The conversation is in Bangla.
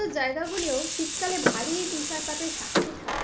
জায়গা গুলিও শীতকালে ভারী তুষারপাতের সাক্ষী থাকে,